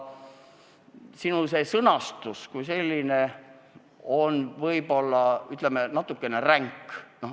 Sinu sõnastus on küll võib-olla, ütleme, natukene ränk.